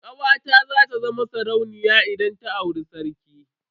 Kawata za ta zama sarauniya idan ta auri sarki.